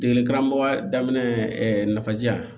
Degeli karamɔgɔya daminɛ nafaji jan